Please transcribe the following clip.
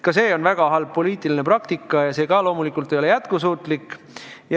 Ka see on väga halb poliitiline praktika ja see ka loomulikult ei ole jätkusuutlik.